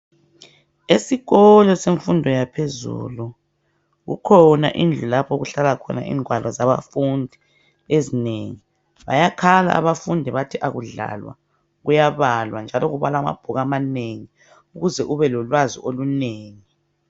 Esikolo semfundo yaphezulu kukhona indlu lapho okuhlala khona ingwalo zabafundi ezinengi bayakhala abafundi bathi akudlalwa kuyabalwa njalo kubalwa amabhuku amanengi ukuze ubelolwazo olunengi.